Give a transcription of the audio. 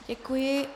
Děkuji.